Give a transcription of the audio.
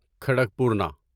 کھڑکپورنا